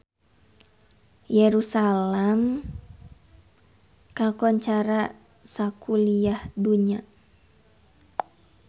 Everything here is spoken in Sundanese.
Yerusalam kakoncara sakuliah dunya